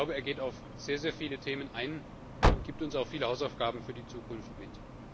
Er geht auf sehr viele Themen ein und gibt uns auch viele Hausaufgaben für die Zukunft mit.